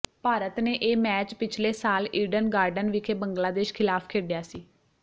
ਭਾਰਤ ਨੇ ਇਹ ਮੈਚ ਪਿਛਲੇ ਸਾਲ ਈਡਨ ਗਾਰਡਨ ਵਿਖੇ ਬੰਗਲਾਦੇਸ਼ ਖ਼ਿਲਾਫ਼ ਖੇਡਿਆ ਸੀ